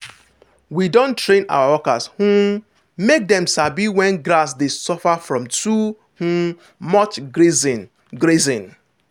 we don train our workers um make dem sabi when grass dey suffer from too um much grazing. grazing.